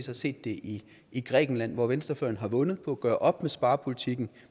har set det i grækenland hvor venstrefløjen har vundet på at gøre op med sparepolitikken